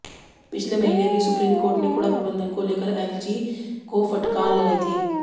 पिछले महीने भी सुप्रीम कोर्ट ने कूड़ा प्रबंधन को लेकर एलजी को फटकार लगाई थी